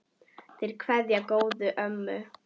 Þeir kveðja góða ömmu.